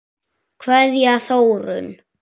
Kveðja, Þórunn.